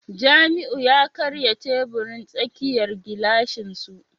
Jamiu ya karya teburin tsakiyar gilashin su